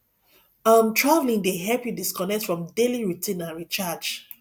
um traveling dey help you disconnect from daily routine and recharge